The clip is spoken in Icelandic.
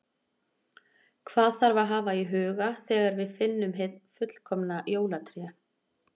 Hvað þarf að hafa í huga þegar við finnum hið fullkomna jólatré?